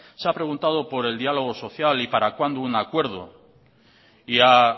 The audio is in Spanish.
se ha preguntado por el diálogo social y para cuándo un acuerdo y ha